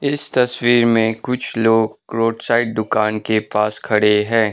इस तस्वीर में कुछ लोग रोड साइड दुकान के पास खड़े है।